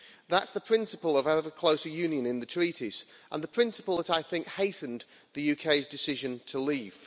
That's the principle of ever closer union in the Treaties and the principle that I think hastened the UK's decision to leave.